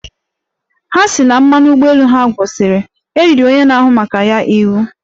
Ha sị na mmanụ ụgbọelu ha gwụchara, e riri onye na-ahụ maka ya iwu